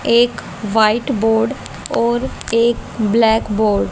एक white board और एक ब्लैक बोर्ड --